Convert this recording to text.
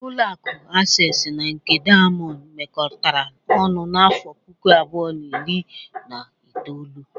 Ụlọaku Asesi na nke Daiyamond mekọtara ọnụ n'afọ puku abụọ, na iri na itoolu.